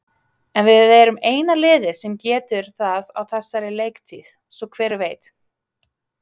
En við erum eina liðið sem getur það á þessari leiktíð, svo hver veit?